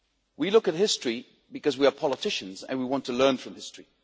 We look at history because we are politicians and we want to learn from history.